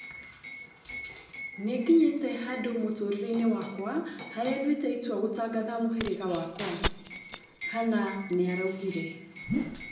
Nĩngĩnyĩte handũ mũtũrĩreinĩ wakwa harĩa nduĩte itua gũtangatha mũhĩrĩga wakwa, " Hanna nĩaraugire